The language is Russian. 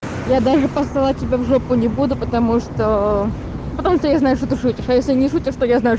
я даже посылать тебя в жопу не буду потому что ну потому что я знаю что ты шутишь а если не шутишь то я знаю